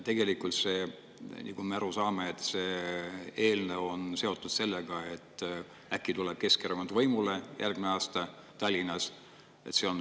Tegelikult, nagu me aru saame, on see eelnõu seotud sellega, et äkki tuleb Keskerakond järgmisel aastal Tallinnas võimule.